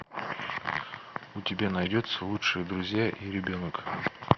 у тебя найдется лучшие друзья и ребенок